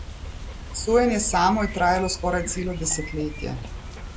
Sojenje samo je trajalo skoraj celo desetletje.